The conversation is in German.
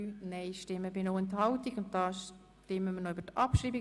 Wir stimmen über die Abschreibung von Ziffer 4 ab.